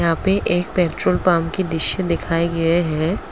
यहां पे एक पेट्रोल पंप की दृश्य दिखाई गए है।